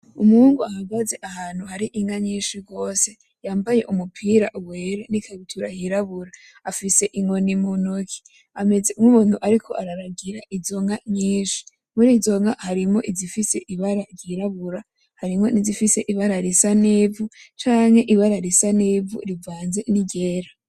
Umuhungu ahagaze ahantu hari inka nyinshi gose yambaye umupira wera n'ikabutura yirabura, afise inkoni mu ntoke ameze nk'umuntu ariko araragira izo nka nyinshi, murizo nka harimwo izifise ibara ry'irabura, harimwo n'izifise ibara risa n'ivu canke ibara risa n'ivu rivanze niryera.